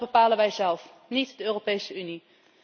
En dat bepalen wij zelf, niet de Europese Unie.